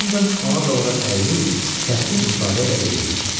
Hədan ona doğru əyilib kəskin ifadə ilə dedi.